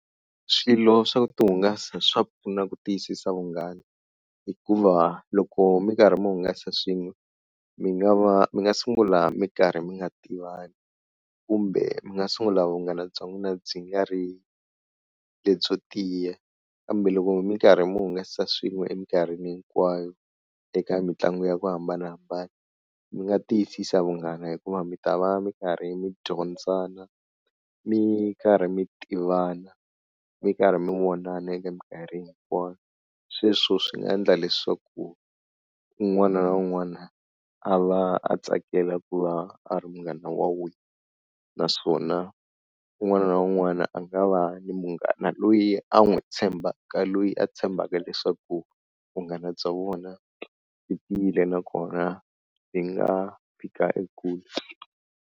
Swilo swa ku ti hungasa swa pfuna ku tiyisisa vunghana hikuva loko mi karhi mi hungasa swin'we mi nga va mi nga sungula mi karhi mi nga tivani kumbe mi nga sungula vunghana bya n'wina byi nga ri lebyo tiya, kambe loko mi karhi mi hungasa swin'we emikarhini hinkwayo eka mitlangu ya ku hambanahambana mi nga tiyisisa vunghana hikuva mi ta va mi karhi mi dyondzana, mi karhi mi tivana, mi karhi mi vonana eka mikarhi hinkwayo sweswo swi endla leswaku un'wana na un'wana a va a tsakela ku va a ri munghana wa wena naswona un'wana na un'wana a nga va ni munghana loyi a n'wi tshembaka, loyi a tshembaka leswaku vunghana bya vona byi tiyile nakona yi nga fika ekule.